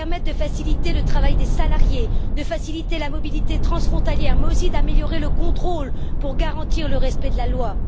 Elle doit permettre de faciliter le travail des salariés et la mobilité transfrontalière, mais aussi d'améliorer le contrôle pour garantir le respect de la loi.